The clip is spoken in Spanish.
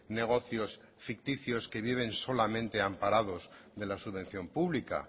negocios ficticios que viven solamente amparados de la subvención pública